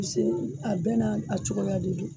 A bi se a bɛɛ n'a cogoya de don